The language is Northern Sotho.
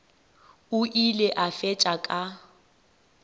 o ile a fetša ka